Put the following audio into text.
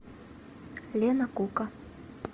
лена кука